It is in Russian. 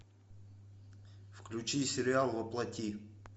включи сериал во плоти